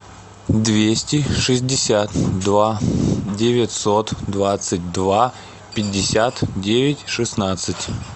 двести шестьдесят два девятьсот двадцать два пятьдесят девять шестнадцать